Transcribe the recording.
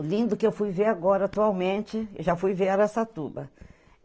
O lindo que eu fui ver agora, atualmente, eu já fui ver Araçatuba.